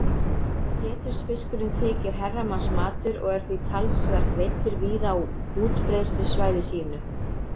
Pétursfiskurinn þykir herramannsmatur og er því talsvert veiddur víða á útbreiðslusvæði sínu.